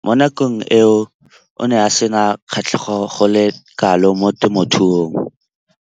Mo nakong eo o ne a sena kgatlhego go le kalo mo temothuong.